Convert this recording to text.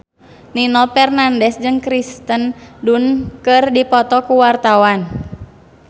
Nino Fernandez jeung Kirsten Dunst keur dipoto ku wartawan